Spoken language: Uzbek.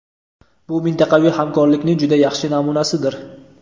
bu mintaqaviy hamkorlikning juda yaxshi namunasidir.